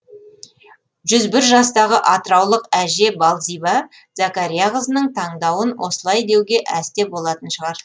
жүз бір жастағы атыраулық әже балзиба зәкәрияқызының таңдауын осылай деуге әсте болатын шығар